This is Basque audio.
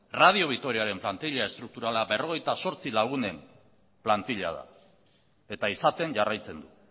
radio vitoriaren plantila estrukturala berrogeita zortzi lagunen plantila da eta izaten jarraitzen du